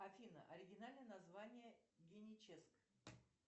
афина оригинальное название геническ